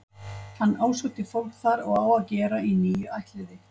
Hann ásótti fólk þar og á að gera í níu ættliði.